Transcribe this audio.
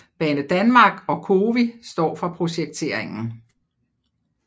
Banedanmark og COWI står for projekteringen